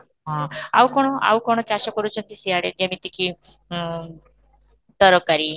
ହଁ, ଆଉ କ'ଣ ଆଉ କ'ଣ ଚାଷ କରୁଛନ୍ତି ସେଇଆଡ଼େ ଯେମିତି କି ଓଁ ତରକାରୀ